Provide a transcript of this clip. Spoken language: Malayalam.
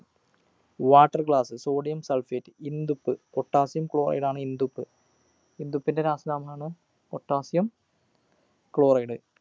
water glass sodium sulphate ഇന്ദുപ്പ് potassium chloride ആണ് ഇന്ദുപ്പ് ഇന്ദുപ്പിൻ്റെ രാസനാമാണ് potassium chloride